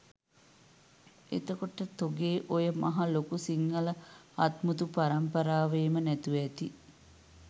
එතකොට තොගේ ඔය මහා ලොකු සිංහල හත්මුතු පරම්පරාවේම නැතුව ඇති